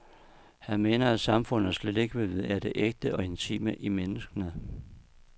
Han mener at samfundet slet ikke vil vide af det ægte og intime i menneskene.